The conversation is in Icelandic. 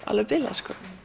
alveg bilað